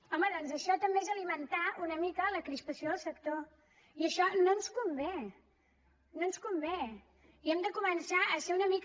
home doncs això també és alimentar una mica la crispació del sector i això no ens convé no ens convé i hem de començar a ser una mica